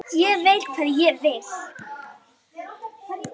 Ég veit hvað ég vil!